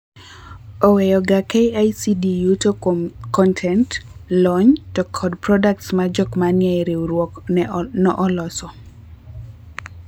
Oweyoga KICD yuto kuom kontent ,lony to kod products ma jok manie e riuruok no oloso.